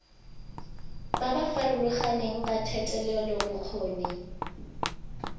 ba ba farologaneng ba thetelelobokgoni